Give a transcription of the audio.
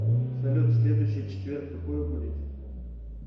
салют следующий четверг какое будет число